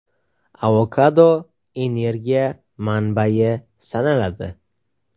Avokado energiya manbayi sanaladi.